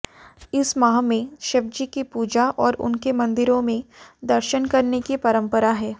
इस माह में शिवजी की पूजा और उनके मंदिरों में दर्शन करने की परंपरा है